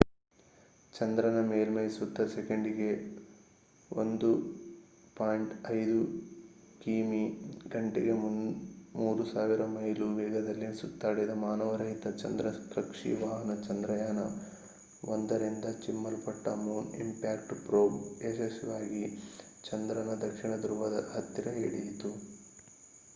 ಚಂದ್ರನ ಮೇಲ್ಮೆಯ ಸುತ್ತ ಸೆಕೆಂಡಿಗೆ 1.5 ಕಿಮಿಗಂಟೆಗೆ 3000 ಮೈಲು ವೇಗದಲ್ಲಿ ಸುತ್ತಾಡಿದ ಮಾನವರಹಿತ ಚಂದ್ರ ಕಕ್ಷಿ ವಾಹನ ಚಂದ್ರಯಾನ-1ರಿಂದ ಚಿಮ್ಮಲ್ಪಟ್ಟ ಮೂನ್ ಇಂಪ್ಯಾಕ್ಟ್ ಪ್ರೋಬ್mip ಯಶಸ್ವಿಯಾಗಿ ಚಂದ್ರನ ದಕ್ಷಿಣ ಧ್ರುವದ ಹತ್ತಿರ ಇಳಿಯಿತು